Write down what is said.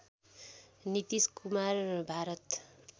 Nitish Kumar Bharat